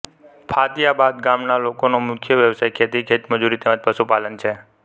ફાતિયાબાદ ગામના લોકોનો મુખ્ય વ્યવસાય ખેતી ખેતમજૂરી તેમ જ પશુપાલન છે